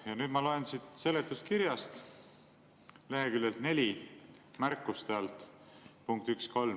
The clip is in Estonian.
" Ja nüüd ma loen siit seletuskirjast leheküljelt 4 märkuste alt, punkt 1.3,